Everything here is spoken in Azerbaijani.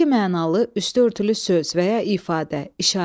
İki mənalı, üstü örtülü söz və ya ifadə, işarə.